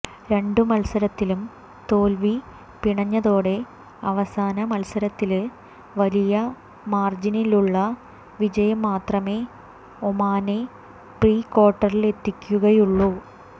രണ്ട് മത്സരത്തിലും തോല്വി പിണഞ്ഞതോടെ അവസാന മത്സരത്തില് വലിയ മാര്ജിനിലുള്ള വിജയം മാത്രമേ ഒമാനെ പ്രീക്വാര്ട്ടറിലെത്തിക്കുകയുള്ളൂ